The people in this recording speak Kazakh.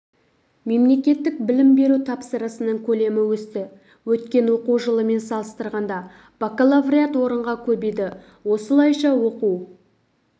мемлекеттік білім беру тапсырысының көлемі өсті өткен оқу жылымен салыстырғанда бакалавриат орынға көбейді осылайша оқу